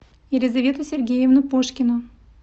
елизавету сергеевну пушкину